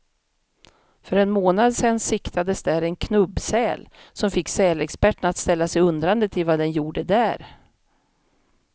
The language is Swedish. För en månad sedan siktades där en knubbsäl, som fick sälexperterna att ställa sig undrande till vad den gjorde där.